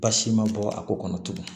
Basi ma bɔ a ko kɔnɔ tugun